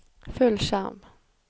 fullskjerm